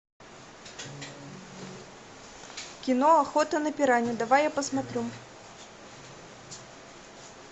кино охота на пиранью давай я посмотрю